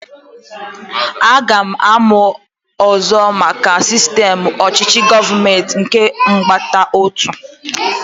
Aga m amụ ọzọ maka sistem ọchịchị gọọmenti nke ọgbakọotu